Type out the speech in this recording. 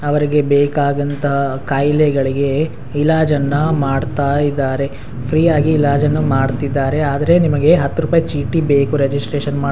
ಅವ್ರಿಗೆ ಬೇಕಾಂದಂತ ಕಾಯಿಲೆಗಳಿಗೆ ಇಲಾಜನ್ನ ಮಾಡ್ತಾ ಇದ್ದಾರೆ ಫ್ರೀಯಾಗಿ ಇಲಾಜನ್ನ ಮಾಡ್ತಿದ್ದಾರೆ ಆದ್ರೆ ನಿಮಗೆ ಹತ್ತ್ ರುಪಾಯಿ ಚೀಟಿ ಬೇಕು ರೆಜಿಸ್ಟೇಷನ್ ಮಾಡ್ --